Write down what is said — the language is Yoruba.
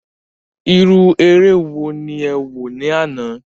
Irú eré wo ni ẹ wò ní àná.